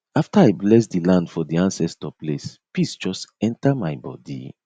after i bless di land for di ancestor place peace just enter my body